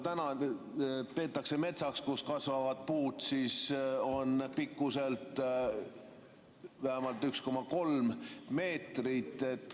Täna peetakse metsaks seda, kus kasvavad puud on pikkuselt vähemalt 1,3 meetrit.